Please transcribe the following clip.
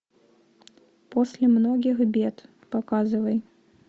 после многих бед показывай